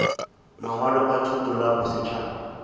mangwalo a thuto la bosetšhaba